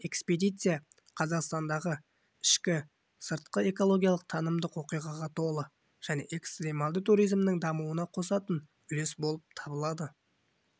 экспедиция қазақстандағы ішкі сыртқы экологиялық танымдық оқиғаға толы және экстрималды туризмнің дамуына қосатын үлес болып табылады